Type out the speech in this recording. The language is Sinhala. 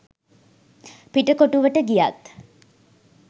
පිටකොටුවට ගියත්